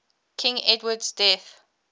king edward's death